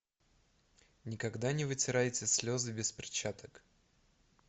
никогда не вытирайте слезы без перчаток